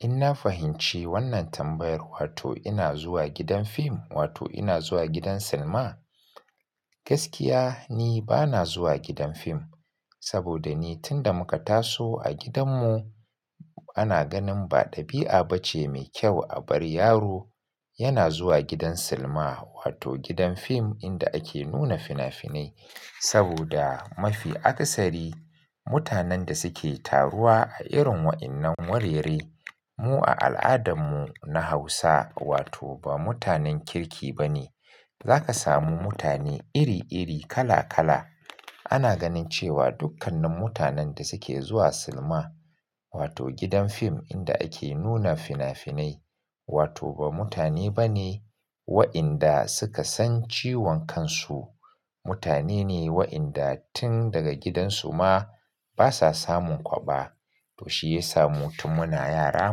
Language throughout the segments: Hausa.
In na fahimci wannan tambayar, wato ina zuwa gidan film wato ina zuwa gidan cinema Gaskiya ni bana zuwa gidan fim saboda ni tun da muka taso a gidanmu ana ganin ba ɗabi'a bace mai kyau a bar yaro yana zuwa gidan silima wato gidan fim inda ake nuna fina-finai. Saboda mafi aksari mutanen da suke taruwa a irin wa'innan wurare mu a al'adanmu na Hausa wato ba mutanen kirki bane. Zaka samu mutane iri-iri, kala-kala. Ana ganin cewa dukkanin mutanen da suke zuwa silima wato gidan fim inda ake nuna fina-finai wato ba mutane bane wa'inda suka san ciwon kansu. Mutane ne wa'inda tun daga gidansu ma basa samun kwaba. To shiyasa mu tun muna yara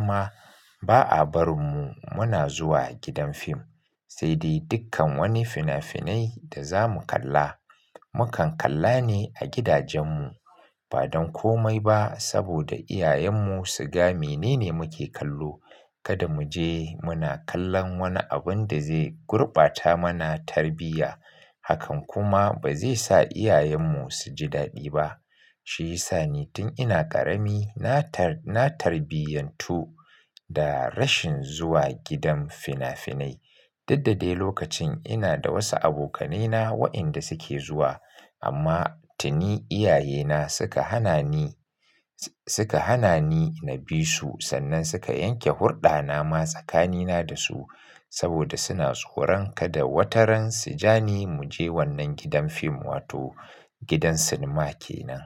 ma ba a barinmu muna zuwa gidan film Saidai dukkan wani fina-finai da zamu kalla mukan kalla ne a gidajenmu ba don komai ba saboda iyayenmu su ga menene muke kallo. Kada mu je muna kallon wani abun da zai gurbata mana tarbiya hakan kuma ba zai sa iyayenmu su ji dadi ba. Shiyasa ni tun ina ƙarami na tar-na tarbiyantu da rashin zuwa gidan fina-finai. Duk da dai lokacin ina da wasu abokanai na wa'inda suke zuwa amma tuni iyayena suka hana ni, s-suka hana ni na bi su sannan suka yanke hurɗana ma tsakanina da su saboda suna tsoron kada wataran su ja ni mu je wannan gidan fim wato gidan cinema kenan.